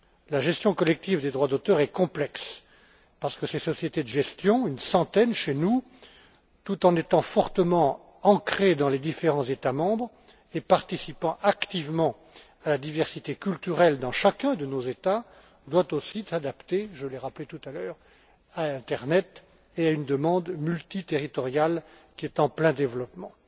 La gestion collective des droits d'auteur est complexe, parce que ces sociétés de gestion une centaine chez nous tout en étant fortement ancrées dans les différents États membres et en participant activement à la diversité culturelle dans chacun de nos États, doivent aussi s'adapter je l'ai rappelé tout à l'heure à l'internet et à une demande multiterritoriale qui est en plein développement.